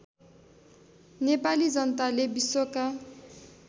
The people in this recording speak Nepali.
नेपाली जनताले विश्वका